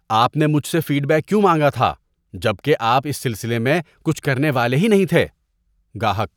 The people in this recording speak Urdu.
آپ نے مجھ سے فیڈ بیک کیوں مانگا تھا جب کہ آپ اس سلسلے میں کچھ کرنے والے ہی نہیں تھے؟ (گاہک)